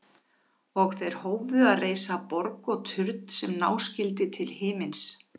Og þeir hófu að reisa borg og turn sem ná skyldi til himins.